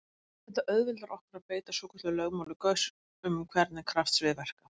Þetta auðveldar okkur að beita svokölluðu lögmáli Gauss um hvernig kraftsvið verka.